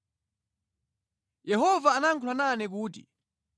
Yehova anayankhula nane kuti,